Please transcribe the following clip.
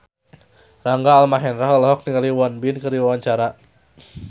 Rangga Almahendra olohok ningali Won Bin keur diwawancara